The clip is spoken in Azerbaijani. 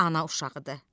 Ana uşağıdır.